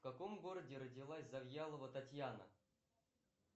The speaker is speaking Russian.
в каком городе родилась завьялова татьяна